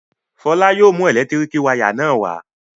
Fọlá yóò mú ẹ̀lẹ́tíríkì wayà náà wá.